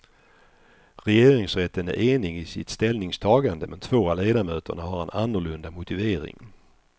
Regeringsrätten är enig i sitt ställningstagande, men två av ledamöterna har en annorlunda motivering.